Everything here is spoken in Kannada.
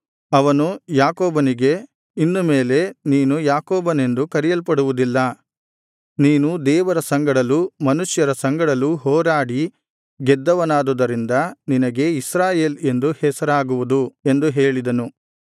ಅವನು ಯಾಕೋಬನಿಗೆ ಇನ್ನು ಮೇಲೆ ನೀನು ಯಾಕೋಬನೆಂದು ಕರೆಯಲ್ಪಡುವುದಿಲ್ಲ ನೀನು ದೇವರ ಸಂಗಡಲೂ ಮನುಷ್ಯರ ಸಂಗಡಲೂ ಹೋರಾಡಿ ಗೆದ್ದವನಾದುದರಿಂದ ನಿನಗೆ ಇಸ್ರಾಯೇಲ್ ಎಂದು ಹೆಸರಾಗುವುದು ಎಂದು ಹೇಳಿದನು